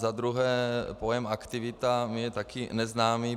Za druhé, pojem aktivita mi je také neznámý.